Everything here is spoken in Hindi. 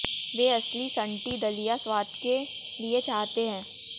वे असली सन्टी दलिया स्वाद के लिए चाहते हैं